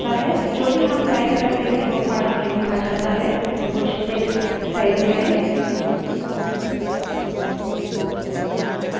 जो भी हम type करते हैं वो file में लिखा जाता है तो कुछ text type करें